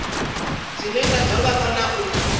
dzine ngadzo vha kona u